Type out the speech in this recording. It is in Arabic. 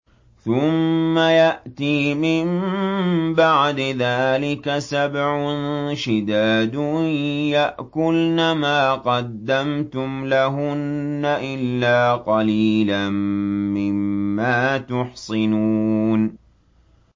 ثُمَّ يَأْتِي مِن بَعْدِ ذَٰلِكَ سَبْعٌ شِدَادٌ يَأْكُلْنَ مَا قَدَّمْتُمْ لَهُنَّ إِلَّا قَلِيلًا مِّمَّا تُحْصِنُونَ